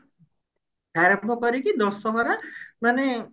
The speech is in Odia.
ଆରମ୍ଭ କରିକି ଦଶହରା ମାନେ